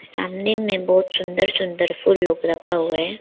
सामने में बहुत सुंदर सुंदर फुल लोग रखा हुआ है।